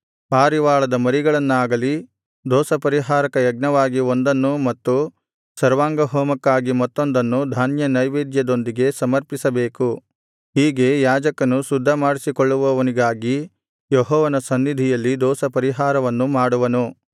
ಪಾರಿವಾಳದ ಮರಿಗಳನ್ನಾಗಲಿ ದೋಷಪರಿಹಾರಕ ಯಜ್ಞವಾಗಿ ಒಂದನ್ನು ಮತ್ತು ಸರ್ವಾಂಗಹೋಮಕ್ಕಾಗಿ ಮತ್ತೊಂದನ್ನು ಧಾನ್ಯನೈವೇದ್ಯದೊಂದಿಗೆ ಸಮರ್ಪಿಸಬೇಕು ಹೀಗೆ ಯಾಜಕನು ಶುದ್ಧ ಮಾಡಿಸಿಕೊಳ್ಳುವವನಿಗಾಗಿ ಯೆಹೋವನ ಸನ್ನಿಧಿಯಲ್ಲಿ ದೋಷಪರಿಹಾರವನ್ನು ಮಾಡುವನು